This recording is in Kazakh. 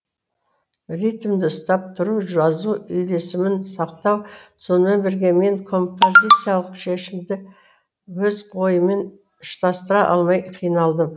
ритмді ұстап тұру жазу үйлесімін сақтау сонымен бірге мен композициялық шешімді өз ойыммен ұштастыра алмай қиналдым